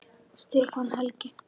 Stefán Helgi.